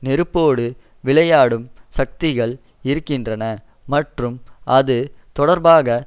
நெருப்போடு விளையாடும் சக்திகள் இருக்கின்றன மற்றும் அது தொடர்பாக